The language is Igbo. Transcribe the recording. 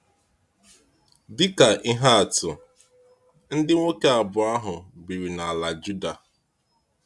Dịka ihe atụ, ndị nwoke abụọ ahụ biri n’ala Júdà.